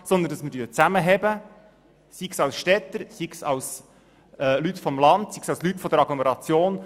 Wir müssen zusammenhalten, sei es als Städter, als Leute vom Land oder als Leute aus der Agglomeration.